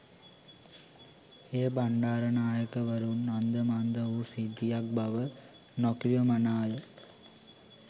එය බණ්ඩාරනායකවරුන් අන්ද මන්ද වූ සිද්ධියක් බව නොකිවමනාය